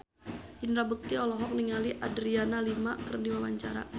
Indra Bekti olohok ningali Adriana Lima keur diwawancara